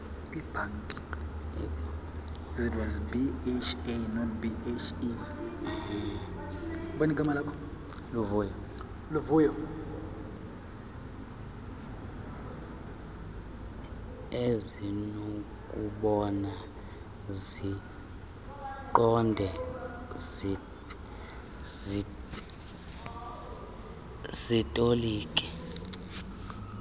ezinokubona ziqonde zitolike